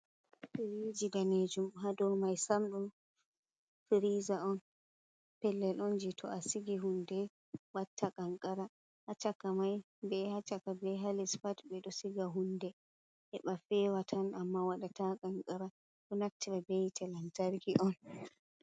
Fariji danejum ha dow mai sam ɗun friza ɗon pellel on ji to a sigi hunde watta kanqara, ha chaka mai be ha chaka be halis pat ɓe ɗo siga hunde he ɓa fewa tan amma waɗata kanqara, ɗo naftira be yite telantarki on.